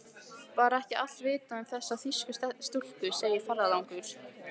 Var ekki allt vitað um þessar þýsku stúlkur, segir ferðalangur.